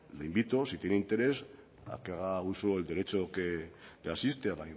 le invito si tiene interés a que haga uso del derecho que le asiste a